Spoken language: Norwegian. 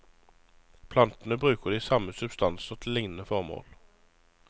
Plantene bruker de samme substanser til lignende formål.